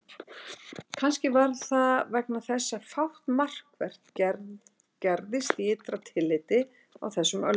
Kannski var það vegna þess að fátt markvert gerðist í ytra tilliti á þessum öldum.